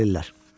Gəlirlər.